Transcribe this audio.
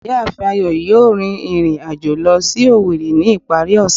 Ìyáàfín Ayo yóò rín irín ajọ̀ lọ si Owerri ni ipari ose.